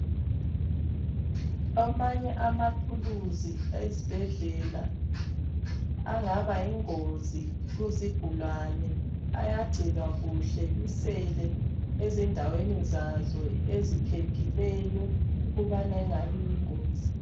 Amanye amathuluzi ezibhedlela angaba yingozi kuzigulane, ayagcinwa kuhle, ebiselwe ezindaweni zawo eziphephileyo ukubana engani yingozi.